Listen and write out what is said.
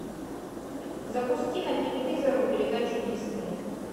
запусти на телевизоре передачу дисней